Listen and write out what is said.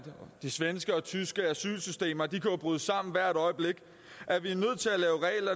de svenske og tyske asylsystemer kan bryde sammen hvert øjeblik